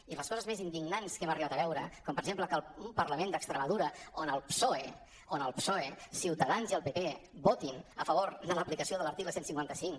i les coses més indignants que hem arribat a veure com per exemple que un parlament d’extremadura on el psoe on el psoe ciutadans i el pp votin a favor de l’aplicació de l’article cent i cinquanta cinc